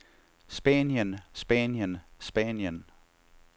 spanien spanien spanien